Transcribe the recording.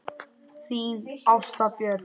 Þín Ásta Björk.